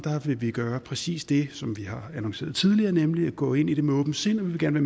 vil vi gøre præcis det som vi har annonceret tidligere nemlig gå ind i det med åbent sind vi vil gerne